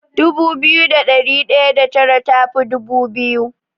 Dubu biyu da ɗari ɗaya da tara tafi dubu biyu.